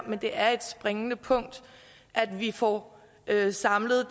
men det er et springende punkt at vi får samlet